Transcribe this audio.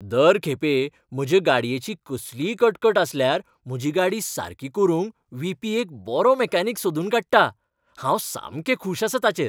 दर खेपे म्हज्या गाडयेची कसलीय कटकट आसल्यार म्हजी गाडी सारकी करूंक व्ही. पी. एक बरो मेकॅनीक सोदून काडटा. हांव सामकें खूश आसां ताचेर.